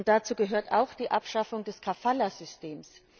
Dazu gehört auch die Abschaffung des Kafala Systems.